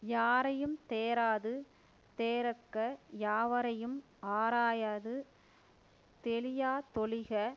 யாரையும் தேராது தேறக யாவரையும் ஆராயாது தெளியா தொழிக